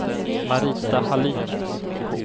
Marita Hallin